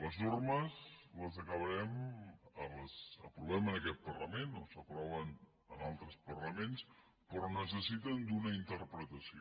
les normes les aprovem en aquest parlament o s’aproven en altres parlaments però necessiten una interpretació